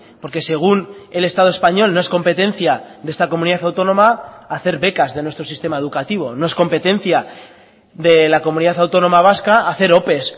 porque según el estado español no es competencia de esta comunidad autónoma hacer becas de nuestro sistema educativo no es competencia de la comunidad autónoma vasca hacer ope